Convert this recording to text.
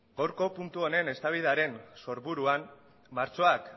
gaurko puntu honen eztabaidaren sorburuan martxoak